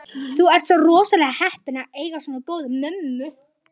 Þú ert rosalega heppinn að eiga svona góða mömmu.